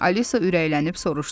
Alisa ürəklənib soruşdu: